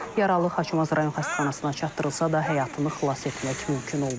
Yaralı Xaçmaz rayon xəstəxanasına çatdırılsa da həyatını xilas etmək mümkün olmayıb.